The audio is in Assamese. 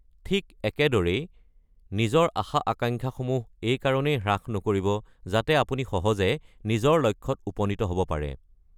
ঠিক একেদৰেই, নিজৰ আশা-আকাংক্ষাসমূহ এইকাৰণেই হ্ৰাস নকৰিব যাতে আপুনি সহজে নিজৰ লক্ষ্যত উপনীত হ'ব পাৰে।